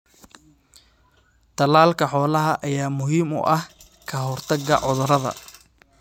Tallaalka xoolaha ayaa muhiim u ah ka hortagga cudurrada.